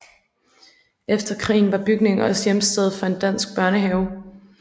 Efter krigen var bygningen også hjemsted for en dansk børnehave